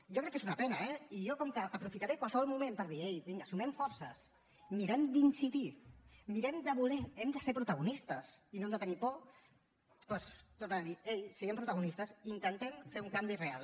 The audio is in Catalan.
jo crec que és una pena eh i jo com que aprofitaré qualsevol moment per dir ei vinga sumem forces mirem d’incidir mirem de voler hem de ser protagonistes i no hem de tenir por doncs tornaré a dir ei siguem protagonistes intentem fer un canvi real